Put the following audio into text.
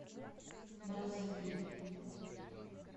браззавиль